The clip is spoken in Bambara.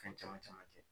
Fɛn caman caman kɛ